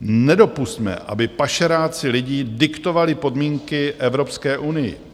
Nedopusťme, aby pašeráci lidí diktovali podmínky Evropské unii.